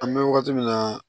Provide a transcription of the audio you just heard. An bɛ wagati min na